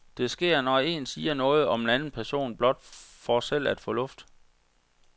Det sker, når en siger noget om en anden person blot for selv at få luft.